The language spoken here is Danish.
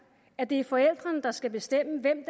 at det er forældrene der skal bestemme hvem